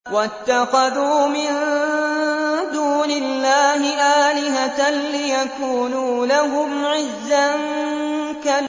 وَاتَّخَذُوا مِن دُونِ اللَّهِ آلِهَةً لِّيَكُونُوا لَهُمْ عِزًّا